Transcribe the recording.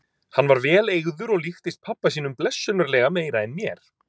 Hann var vel eygður og líktist pabba sínum blessunarlega meira en mér.